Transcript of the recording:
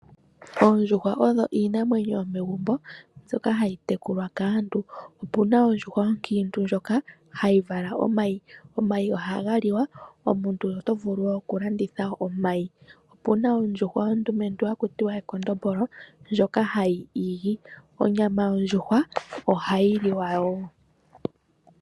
Oondjuhwa odho iinamwenyo yomegumbo mbyoka hayi tekulwa kaantu. Opuna ondjuhwa onkiintu ndjoka hayi vala omayi. Omayi ohaga liwa, omuntu oto vulu wo oku landitha omayi. Opuna ondjuhwa ondumentu haku tiwa ekondombolo, ndjoka hayi igi. Onyama yondjuhwa ohayi liwa wo.